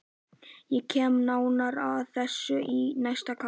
Ég kem nánar að þessu í næsta kafla.